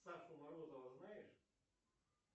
сашу морозова знаешь